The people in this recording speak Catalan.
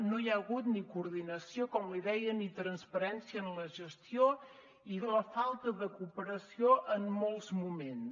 no hi ha hagut ni coordinació com li deia ni transparència en la gestió i falta de cooperació en molts moments